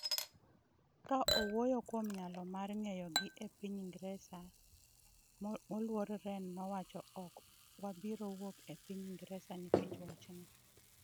Ka owuoyo kuom nyalo mar geng’o gi e piny Ingresa, moluor Ren nowacho : “Ok wabiro wuok e piny Ingresa nikech wachni .